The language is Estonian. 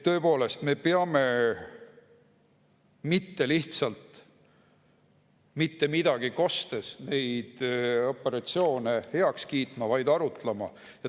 Tõepoolest, me peame mitte lihtsalt mitte midagi kostes neid operatsioone heaks kiitma, vaid arutlema.